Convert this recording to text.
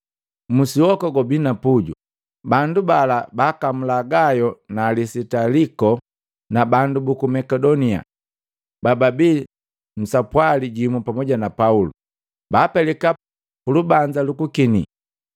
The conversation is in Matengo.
Musi woka gwabii na puju. Bandu bala baakamula Gayo na Alisitaliko na bandu buku Makedonia, bababi sapwali jimu pamu na Pauli. Baapelika pulubanza lu kukinii.